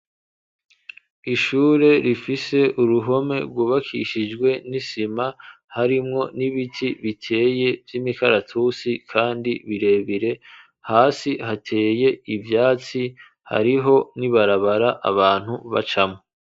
Ishure rifise uruhome rwubakishijwe n'isima ,harimwo n'ibiti biteye vy'imikaratusi, kandi birebire hasi hateye ivyatsi hariho nibarabara abantu bacamwo.